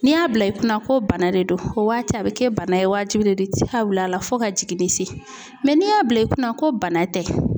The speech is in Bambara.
N'i y'a bila i kunna ko bana de don o waati a bɛ kɛ bana ye wajibi de don la fo ka jiginni se n'i y'a bila i kunna ko bana tɛ